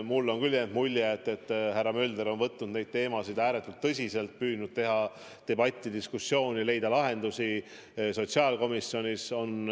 Mulle on küll jäänud mulje, et härra Mölder on võtnud neid teemasid ääretult tõsiselt, püüdnud teha debatti, diskussiooni, leida lahendusi sotsiaalkomisjonis.